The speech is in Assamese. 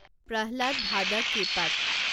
প্ৰহ্লাদ ভাদাককেপাত